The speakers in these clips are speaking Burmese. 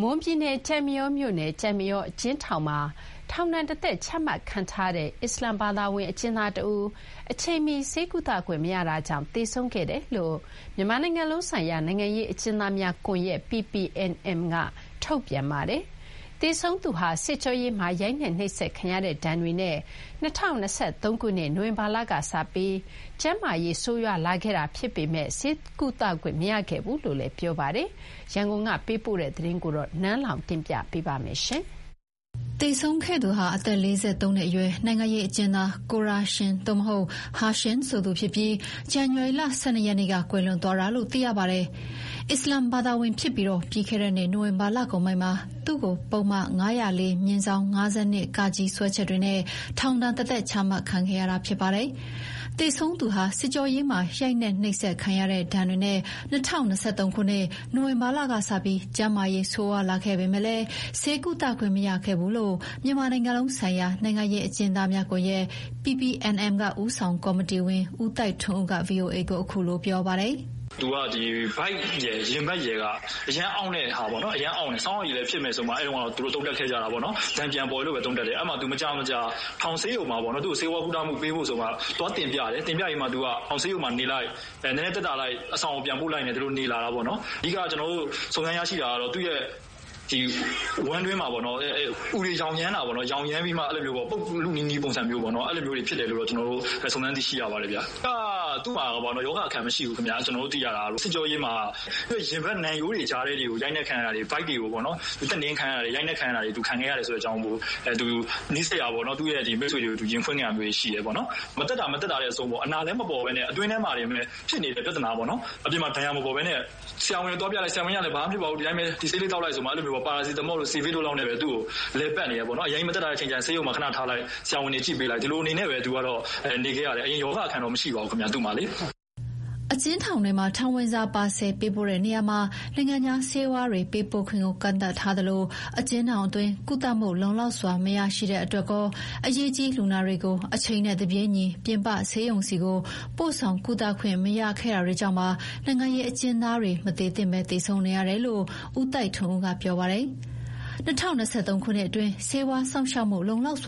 မွန်ပြည်နယ်၊ ကျိုက်မရောမြို့နယ်၊ ကျိုက်မရောအကျဉ်းထောင်မှာ ထောင်ဒဏ်တသက်ချမှတ်ခံထားရတဲ့ အစ္စလာမ်ဘာသာဝင် အကျဉ်းသားတဦး အချိန်မီဆေးကုသခွင့်မရတာမို့ သေဆုံးခဲ့ရတယ်လို့ မြန်မာနိုင်ငံလုံးဆိုင်ရာနိုင်ငံရေးအကျဉ်းသားများကွန်ရက် (PPNM) က ထုတ်ပြန်ပါတယ်။ သေဆုံးသူဟာ စစ်ကြောရေးမှာ ရိုက်နှက် နှိပ်စက်ခံရတဲ့ဒဏ်တွေနဲ့ ၂၀၂၃ ခုနှစ်၊ နိုဝင်ဘာလ ကစပြီး ကျန်းမာရေး ဆိုးရွားလာခဲ့ပေမယ့် ဆေးကုသခွင့်မရခဲ့ဘူးလို့ ပြောပါတယ်။ ရန်ကုန်က ပေးပို့တဲ့သတင်း နန်းလောဝ်က တင်ပြပေးထားပါတယ်။ သေဆုံးခဲ့သူဟာ အသက် ၄၃ နှစ်အရွယ် နိုင်ငံရေးအကျဉ်းသား ကိုရာရှင် (ခ) ဟာရှင်ဆိုသူဖြစ်ပြီး ဇန်နဝါရီ ၁၂ ရက်နေ့က ကွယ်လွန်သွားတာလို့သိရပါတယ်။ အစ္စလာမ်ဘာသာဝင်ဖြစ်ပြီး ပြီးခဲ့တဲ့နှစ်နိုဝင်ဘာလကုန်ပိုင်းမှာ သူ့ကို ပုဒ်မ ၅၄/၅၂(က) စွဲချက်တွေနဲ့ ထောင်ဒဏ်တသက်ချမှတ်ခံခဲ့ရတာဖြစ်ပါတယ်။ သေဆုံးသူဟာစစ်ကြောရေးမှာ ရိုက်နှက်နှိပ်စက်ခံရတဲ့ ဒဏ်တွေနဲ့ ၂၀၂၃ ခုနှစ်၊ နိုဝင်ဘာလကစပြီး ကျန်းမာရေး ဆိုးရွားလာခဲ့ပေမယ့် ဆေးကုသခွင့်မရခဲ့ဘူးလို့ မြန်မာနိုင်ငံလုံးဆိုင်ရာ နိုင်ငံရေးအကျဉ်းသားများကွန်ရက် (PPNM) ကဦးဆောင်ကော်မတီဝင် ဦးသိုက်ထွန်းဦးက ဗွီအိုအေကို ခုလိုပြောပြပါတယ်။ "သူကဗိုက်ရယ် ရင်ဘတ်ရယ် အရမ်းအောင့်တယ်။ သူတို့က ဆောင်းရာသီ (ကြောင့်)လည်း ဖြစ်မယ်ဆိုပြီး အဲတုန်းကသုံးသပ်ခဲ့ကြတယ်။ ဒဏ်ပြန်ပေါ်တယ် ပြောတယ်။ အဲမှာ မကြာမကြာ ထောင်ဆေးရုံမှာ ဆေးဝါးကုသခွင့်ပေးဖို့ တင်ပြတယ်။ ထောင်ဆေးရုံနေလိုက် နည်းနည်းသက်သာလိုက်အဆောင်နေလိုက်ပေါ့။ ကျနော်တို့စုံစမ်းသိရတာတော့ ဝမ်းတွင်း အူယောင်တာ ပုပ်လုနီးနီးဖြစ်တယ်လို့ စုံစမ်းသိရတယ်။ အဓိက-က ရောဂါအခံမရှိဘူး။စစ်ကြောရေးမှာ ရင်ဘတ်၊ နံရိုးကြား ရိုက်နှက်ခံရတာတွေ၊ ဗိုက်ပေါ် တက်နင်းခံရတာတွေ၊ ရိုက်နှက်ခံရတာတွေကို နီးစပ်ရာမိတ်ဆွေတွေကို ရင်ဖွင့်ခဲ့တာရှိတယ်။ မသက်သာ မသက်သာနဲ့ အတွင်းထဲမှာပဲ ဖြစ်နေခဲ့တာပေါ့။ ဆရာဝန်သွားပြလဲ ဆရာဝန်က 'ဘာမှမဖြစ်ပါဘူး၊ ဒီဆေးသောက်' ဆိုပြီး ပါရာစီတမောနဲ့စီဗစ်နဲ့ပဲ လည်ပတ်နေတာ။ အရမ်းမသက်သာရင် ဆေးရုံမှာထားလိုက်၊ ဒီလိုနဲ့ပဲ နေခဲ့ရတယ်။ အရင်ရောဂါအခံ မရှိခဲ့ပါဘူးဗျ။" အကျဉ်းထောင်တွေဆီ ထောင်ဝင်စာ ပါဆယ်ပေးပို့ရာမှာ နိုင်ငံခြားဆေးဝါးတွေ ပို့ခွင့် ကန့်သတ်ထားသလို အကျဉ်းထောင်ထဲမှာလည်း လုံလောက်တဲ့ ဆေးဝါး ကုသမှုမရရှိတဲ့အတွက်ကော အရေးပေါ်လူနာတွေကို အချိန်နဲ့တပြေးညီ ပြင်ပဆေးရုံဆီ ပို့ဆောင်ကုသခွင့်မရခဲ့တာတွေကြောင့် နိုင်ငံရေးအကျဉ်းသားတွေ မသေသင့်ဘဲ သေဆုံးနေရတယ်လို့ ဦးသိုက်ထွန်းဦးက ပြောပါတယ်။ ၂၀၂၃ ခုနှစ်အတွင်း ဆေးဝါးစောင့်ရှောက်မှု မလုံလောက်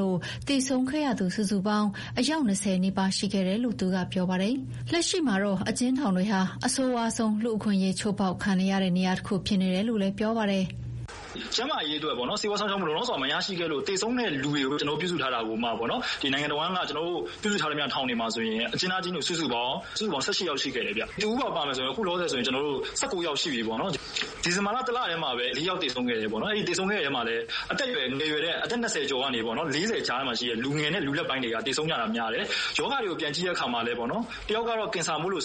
လို့ သေဆုံးခဲ့ရသူစုစု ပေါင်း အယောက် ၂၀ နီးပါးရှိခဲ့တယ်လို့ သူကပြောပါတယ်။ လက်ရှိမှာ အကျဉ်းထောင်တွေမှာ အဆိုးဝါးဆုံးလူ့အခွင့်အရေးချိုးဖောက်ခံနေရတဲ့နေရာတခုဖြစ်နေတယ်လို့ပြောပါတယ်။ "ကျန်းမာရေးဆေးဝါးစောင့်ရှောက်မှုမရလို့ သေဆုံးတဲ့လူဦးရေပြုစုထားတာကိုမှ နိုင်ငံတဝန်းမှာ ကျနော်တို့ပြုစုထားတဲ့ထောင်တွေမှာဆိုရင် အကျဉ်းသားအကျဉ်းသူ စုစုပေါင်း ၁၈ ဦးရှိခဲ့တယ်။ ဒီ တဦးပါ-ပါမယ်ဆိုရင် လောလောဆယ် ၁၉ ဦး ရှိခဲ့ပြီပေါ့နော်။ ဒီဇင်ဘာလတလထဲတင် ၄ ယောက်သေခဲ့တယ်။ သေဆုံးတာကလည်း အသက်ငယ်တဲ့ အသက် ၂၀ ကျော်ကနေ ၄၀ ကြားမှာ ရှိတယ်။ လူငယ်နဲ့လူလတ်ပိုင်းတွေ သေကြတာများတယ်။ ရောဂါကို ပြန်ကြည့်တာမှာတော့ တယောက်က ကင်ဆာမို့လ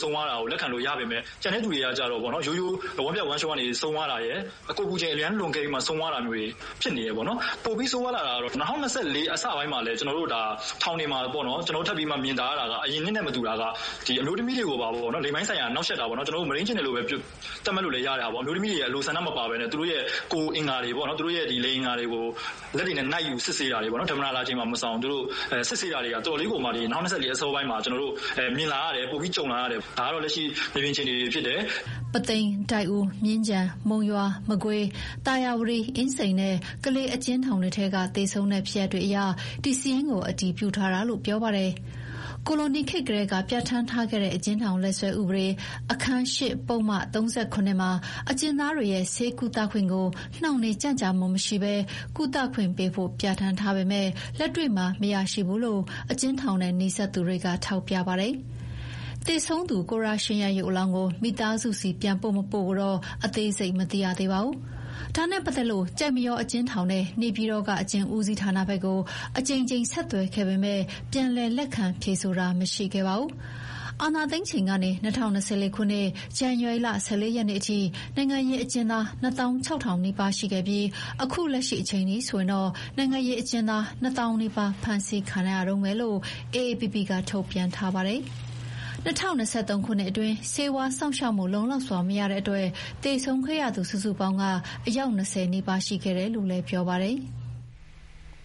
က်ခံလို့ရပေမယ့် ရိုးရိုးဝမ်းပျက်ဝမ်းလျောကနေဆုံးတာရယ်၊ ကိုယ်အပူချိန် အရမ်းလွန်ကဲပြီး ဆုံးတာမျိုးတွေ ဖြစ်နေတယ်။ ၂၀၂၄ အစပိုင်းမှာလည်း ထောင်တွေမှာမြင်သာပြီး အရင်နှစ်နဲ့မတူတာက အမျိုးသမီးတွေကို လိင်ပိုင်းဆိုင်ရာနှောင့်ယှက်တာ၊ မုဒိန်းကျင့်တယ် ပြောရမလား။ အမျိုးသမီးတွေဆန္ဒမပါဘဲ သူတို့ လိင်အင်္ဂါတွေကို လက်နဲ့နှိုက်စစ်တာ။ ဓမ္မတာလာချိန်မှာ မရှောင်ပေါ့။ သူတို့တွေ စစ်ဆေးတာတွေ ၂၀၂၄ မှာပိုမြင်လာရတယ်။ ပိုကြုံလာရတယ်။ ဒါတွေဟာ မြေပြင်မှာဖြစ်နေတာတွေပါ။" ပုသိမ်၊ ဒိုက်ဦး၊ မြင်းခြံ၊ မုံရွာ၊ မကွေး၊ သာယာဝတီ၊ အင်းစိန်နဲ့ ကလေးအကျဉ်းထောင်တွေထဲက သေဆုံးတဲ့ဖြစ်ရပ်တွေအရ ဒီစာရင်းကို အတည်ပြုထား တာလို့လည်း သူက ပြောပါတယ်။ ကိုလိုနီခေတ်ကတည်းက ပြဌာန်းထားခဲ့တဲ့ အကျဉ်းထောင်လက်စွဲဥပဒေ အခန်း (၈) ပုဒ်မ - ၃၇ မှာ အကျဉ်းသားတွေရဲ့ ဆေးကုသခွင့်ကို နှောင့်နှေးကြန့်ကြာမှုမရှိဘဲ ကုသပေးဖို့ ပြဌာန်းထားပေမယ့်လက်တွေ့မှာမရရှိဘူးလို့ အကျဉ်းထောင်နဲ့နီးစပ်သူတွေကထောက်ပြပါတယ်။ သေဆုံးသူ ကိုရာရှင်ရဲ့ရုပ်အလောင်းကို မိသားစုဆီပြန်ပို့မပို့ကိုတော့ အသေးစိတ်မသိရသေးပါဘူး။ ဒါနဲ့ပတ်သက်လို့ ကျိုက်မရောအကျဉ်းထောင်နဲ့ နေပြည်တော်က အကျဉ်းဦးစီးဌာနဘက်ကို အကြိမ်ကြိမ်ဆက်သွယ်ခဲ့ပေမယ့် ပြန်လည်လက်ခံဖြေဆိုတာ မရှိခဲ့ပါဘူး။ အာဏာသိမ်းချိန်ကနေ ၂၀၂၄ ခုနှစ် ဇန်နဝါရီလ ၁၄ ရက်နေ့အထိ နိုင်ငံရေးအကျဉ်းသား နှစ်သောင်းခြောက်ထောင် (၂၆,၀၀၀) နီးပါး ရှိခဲ့ပြီး အခုလက်ရှိအချိန်အထိဆိုရင် နိုင်ငံရေးအကျဉ်းသား နှစ်သောင်းနီးပါး ဖမ်းဆီးခံထားရတုန်းပဲလို့ AAPP ကထုတ်ပြန်ထားပါတယ်။ ၂၀၂၃ ခုနှစ်အတွင်း ဆေးဝါးစောင့်ရှောက်မှုလုံလောက်စွာမရလို့ သေဆုံးခဲ့ရသူစုစုပေါင်း အယောက် ၂၀ နီးပါးရှိခဲ့တယ်လို့ပြောပါတယ်။